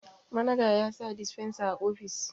managa ya sa disfensa a ofis